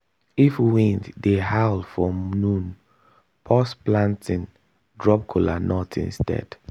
if wind dey howl for noon pause planting drop kola nut instead.